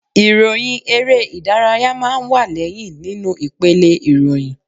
Ìròyìn eré ìdárayá máa ń wá lẹ́yìn nínú ipele ìròyìn